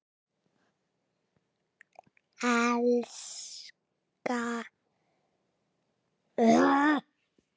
Elska þig alltaf, pabbi minn.